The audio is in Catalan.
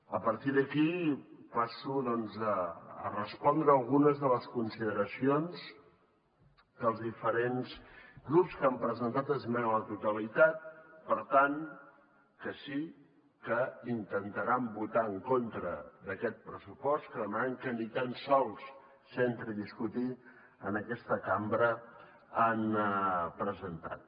a partir d’aquí passo doncs a respondre algunes de les consideracions que els diferents grups que han presentat esmena a la totalitat per tant que sí que intentaran votar en contra d’aquest pressupost que demanen que ni tan sols s’entri a discutir en aquesta cambra han presentat